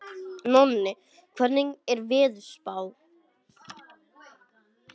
Nóni, hvernig er veðurspáin?